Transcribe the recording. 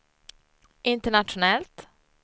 internationellt